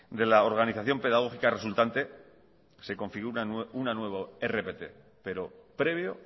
de la organización pedagógica resultante se configura una nueva rpt pero previo